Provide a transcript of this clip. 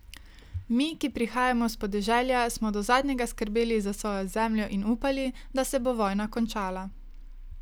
Mi, ki prihajamo s podeželja, smo do zadnjega skrbeli za svojo zemljo in upali, da se bo vojna končala.